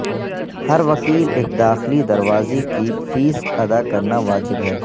ہر وکیل ایک داخلی دروازے کی فیس ادا کرنا واجب ہے